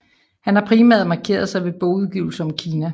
Han har primært markeret sig ved bogudgivelser om Kina